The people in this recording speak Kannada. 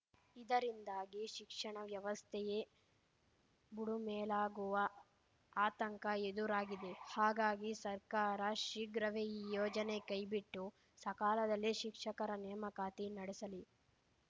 ಇದರಿಂದಾಗಿ ಶಿಕ್ಷಣ ವ್ಯವಸ್ಥೆಯೇ ಬುಡುಮೇಲಾಗುವ ಆತಂಕ ಎದುರಾಗಿದೆ ಹಾಗಾಗಿ ಸರ್ಕಾರ ಶೀಘ್ರವೇ ಈ ಯೋಜನೆ ಕೈಬಿಟ್ಟು ಸಕಾಲದಲ್ಲಿ ಶಿಕ್ಷಕರ ನೇಮಕಾತಿ ನಡೆಸಲಿ